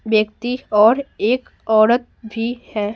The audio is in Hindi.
व्यक्तिऔर एक औरत भी है।